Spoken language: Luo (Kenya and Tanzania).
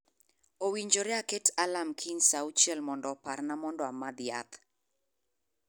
Owinjore aketo alarm kiny saa auchiel mondo oparna mondo amadh yath